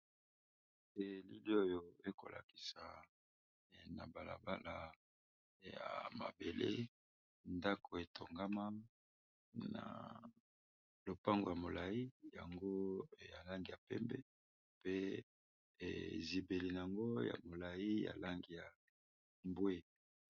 Elili oyo ekolakisa na balaba ya mabele ndako etongama na lopango ya molai yango ya langi ya pembe ,pe zibeli na yango ya molai ya langi ya mbwe.